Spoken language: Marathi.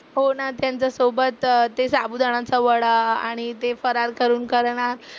हो ना त्यांच्यासोबत ते साबुदाण्याचा वडा आणि ते फराळ करून करणार.